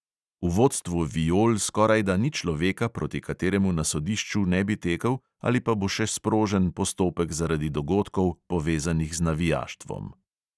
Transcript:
V vodstvu viol skorajda ni človeka, proti kateremu na sodišču ne bi tekel ali pa bo še sprožen postopek zaradi dogodkov, povezanih z navijaštvom.